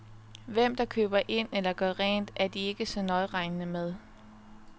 Hvem der køber ind eller gør rent, er de ikke så nøjeregnende med.